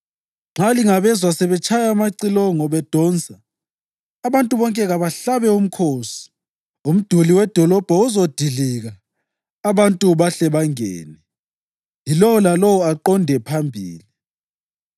Nxa lingabezwa sebetshaya amacilongo bedonsa, abantu bonke kabahlabe umkhosi; umduli wedolobho uzadilika abantu bahle bangene, yilowo lalowo aqonde phambili.”